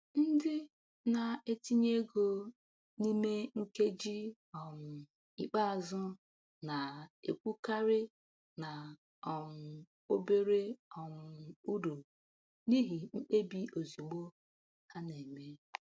Ndị na-etinye ego n’ime nkeji um ikpeazụ na-ekwukarị na um obere um uru n’ihi mkpebi ozigbo ha na-eme.